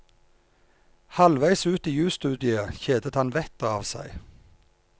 Halvveis ut i jusstudiet kjedet han vettet av seg.